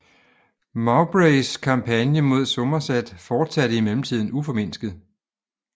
Mowbrays kampagne mod Somerset fortsatte i mellemtiden uformindsket